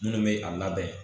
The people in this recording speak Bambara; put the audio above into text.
Minnu bɛ a labɛn